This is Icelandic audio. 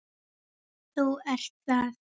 Þú ert það.